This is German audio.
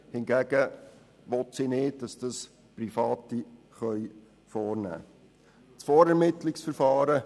hingegen will sie nicht, dass Private eine solche vornehmen können.